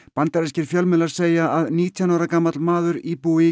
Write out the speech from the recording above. bandarískir fjölmiðlar segja að nítján ára gamall maður íbúi í